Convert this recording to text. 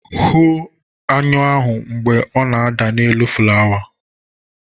Hụ aṅụ ahụ mgbe ọ na-ada n'elu flawa!